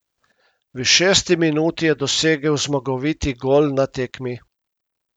V šesti minuti je dosegel zmagoviti gol na tekmi.